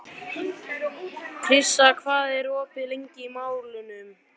Krissa, hvað er opið lengi í Málinu?